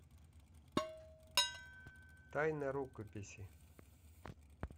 тайна рукописи